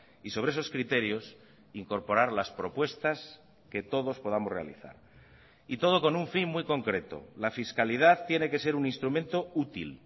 y sobre esos criterios incorporar las propuestas que todos podamos realizar y todo con un fin muy concreto la fiscalidad tiene que ser un instrumento útil